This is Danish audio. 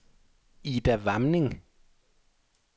Ida Warming